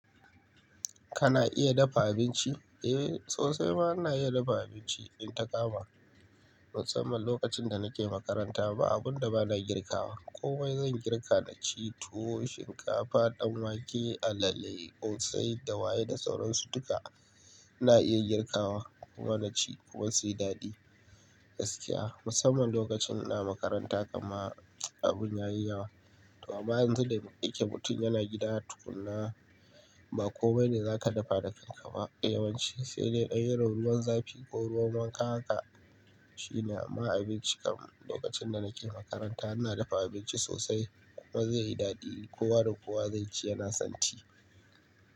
Kana iya dafa abinci? Eh, sosai ma na iya dafa abinci. In takama, musamman lokacin da nake makaranta ba abun da ba na girkawa. Komai zan girka naci, tuwo, shinkafa, dan wake, alale, ƙosai, dawaye da sauran su duka. Na iya girkawa kuma na ci kuma sai daɗi. Gaskiya musamman lokacin ina makaranta kama abun ya yi yawa. To amma yanzu da yake mutum yana gida tukuna ba komai ne za ka dafa da kai ka ba. Yawanci sai dai irin ruwan zafi ko ruwan wanka haka shine ma abinci kamar lokacin da nake makaranta ina dafa abinci sosai kuma zai yi daɗi. Kowa da kowa zai ci yana son ci.